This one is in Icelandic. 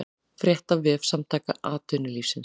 Frétt á vef Samtaka atvinnulífsins